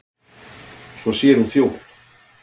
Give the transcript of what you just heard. Svo sér hún þjófinn.